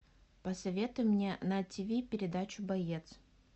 посоветуй мне на тв передачу боец